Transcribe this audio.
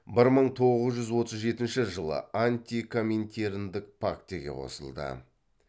бір мың тоғыз жүз отыз жетінші жылы антикоминтерндік пактіге қосылды